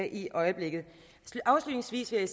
i øjeblikket afslutningsvis vil